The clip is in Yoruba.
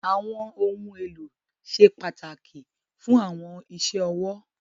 Àwọn ohun elo sẹ́ pataki fún àwọn ìṣẹ́ òwò.